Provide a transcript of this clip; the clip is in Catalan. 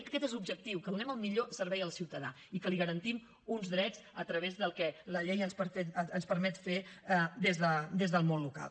jo crec que aquest és l’objectiu que donem el millor servei al ciutadà i que li garantim uns drets a través del que la llei ens permet fer des del món local